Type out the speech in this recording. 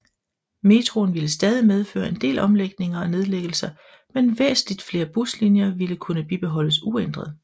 Metroen ville stadig medføre en del omlægninger og nedlæggelser men væsentligt flere buslinjer ville kunne bibeholdes uændret